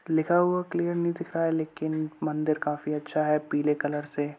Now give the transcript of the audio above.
लिखा हुआ क्लियर नहीं दिख रहा है लेकिन मंदिर काफी अच्छा है। पीले कलर से --